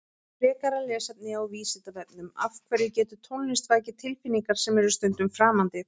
Frekara lesefni á Vísindavefnum Af hverju getur tónlist vakið tilfinningar sem eru stundum framandi?